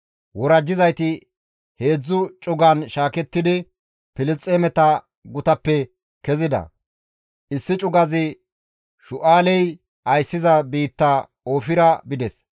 Worajjizayti heedzdzu cugan shaakettidi Filisxeemeta gutappe kezida; issi cugazi Shu7aaley ayssiza biitta Oofira bides.